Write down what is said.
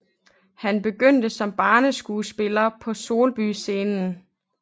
Han begyndte som barneskuespiller på Solby Scenen